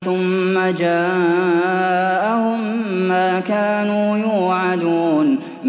ثُمَّ جَاءَهُم مَّا كَانُوا يُوعَدُونَ